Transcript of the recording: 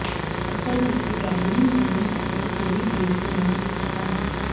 ਅਸਲ ਵਿੱਚ dining room ਅਤੇ ਰਸੋਈ ਬੇਸਮੈਂਟ ਵਿੱਚ ਸਨ